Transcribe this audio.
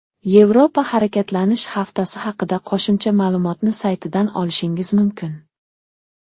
Yevropa Harakatlanish Haftasi haqida qo‘shimcha ma’lumotni saytidan olishingiz mumkin.